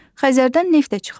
Xəzərdən neft də çıxarılır.